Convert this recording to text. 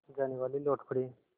जानेवाले लौट पड़े